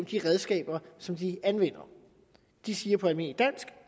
de redskaber som de anvender de siger på almindeligt dansk